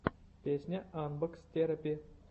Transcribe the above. песня анбокс терапи